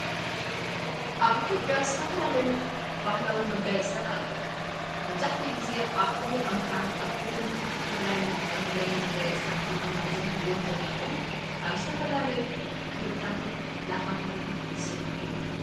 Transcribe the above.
ኣብ ኢቲዮጽያ ዝተፈላለዩ ባህላዊ መጋየጽትታት ኣለዉ። መብዛሕቲኡ ጊዜ ኣብ ክልል ኣምሓራን ፣ ኣብ ክልል ትግራይን እንጥቀመሎም መጋየጽትታት ዝኾኑ እዞምትርእይዎም ዘለኹም ካብ ዝተፈላለዩ ክርታትን ላኻታትን ዝስርሑ እዮም።